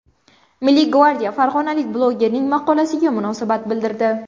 Milliy gvardiya farg‘onalik blogerning maqolasiga munosabat bildirdi.